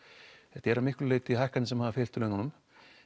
þetta eru að miklu leyti hækkanir sem hafa fylgt laununum